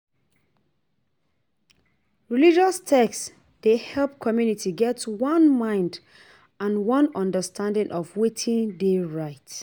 Religius text dey help community get one mind and one understanding of wetin dey right